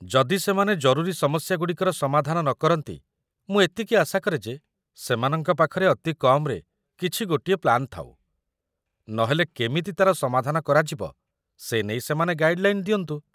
ଯଦି ସେମାନେ ଜରୁରୀ ସମସ୍ୟାଗୁଡ଼ିକର ସମାଧାନ ନ କରନ୍ତି, ମୁଁ ଏତିକି ଆଶା କରେ ଯେ ସେମାନଙ୍କ ପାଖରେ ଅତି କମ୍‌ରେ କିଛି ଗୋଟିଏ ପ୍ଲାନ୍ ଥାଉ, ନହେଲେ କେମିତି ତା'ର ସମାଧାନ କରାଯିବ ସେ ନେଇ ସେମାନେ ଗାଇଡ୍‌ଲାଇନ୍‌ ଦିଅନ୍ତୁ ।